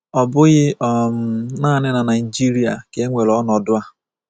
Ọ bụghị um nanị na Naịjirịa ka e nwere ọnọdụ a.